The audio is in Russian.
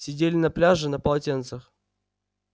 сидели на пляже на полотенцах